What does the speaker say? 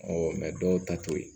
dɔw ta to ye